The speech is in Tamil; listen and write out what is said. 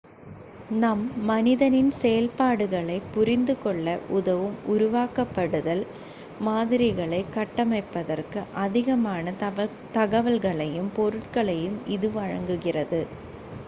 நம் மனதின் செயல்பாடுகளைப் புரிந்துகொள்ள உதவும் உருவகப்படுத்தல் மாதிரிகளைக் கட்டமைப்பதற்கு அதிகமான தகவல்களையும் பொருட்களையும் இது வழங்குகிறது